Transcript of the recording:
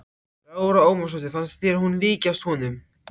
Lára Ómarsdóttir: Fannst þér hún líkjast honum?